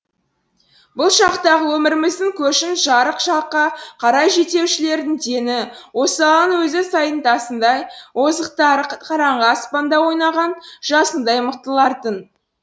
бұл шақтағы өміріміздің көшін жарық жаққа қарай жетелеушілердің дені осалының өзі сайдың тасындай озықтары қараңғы аспанда ойнаған жасындай мықтылар тын